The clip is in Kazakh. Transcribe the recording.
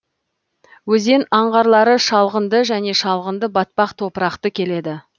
өзен аңғарлары шалғынды және шалғынды батпақ топырақты келеді